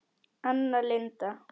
Anna Linda.